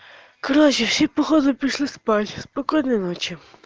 короче все походу пошли спать спокойной ночи